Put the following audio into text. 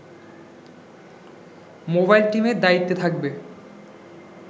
mobile টিমের দায়িত্বে থাকবে